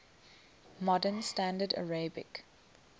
modern standard arabic